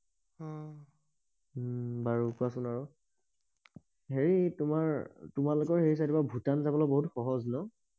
উম বাৰু কোৱাচোন আৰু হেই তোমাৰ তোমালোকৰ সেই চাইদৰ পৰা ভূটান যাবলে বহুত সহজ ন